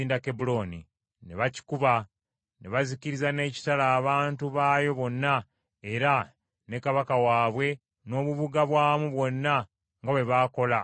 ne bakikuba; ne bazikiriza n’ekitala abantu baayo bonna era ne kabaka waabwe n’obubuga bwamu bwonna nga bwe baakola mu Eguloni.